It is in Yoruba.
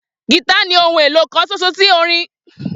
Gìtá ni ohun èlò kan ṣoṣo orin tí Bísóyè fẹ́ràn